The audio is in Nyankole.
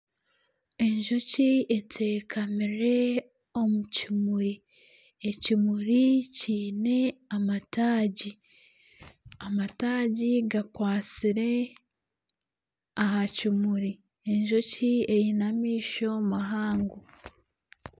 Enjoki etekamire omu kimuri ,ekimuri kiine amataagi ,amataagi g'akwatsire aha kimuri enjoki eine amaisho mahango .